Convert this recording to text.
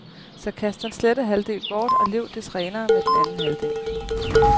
Så kast den slette halvdel bort og lev des renere med den anden halvdel.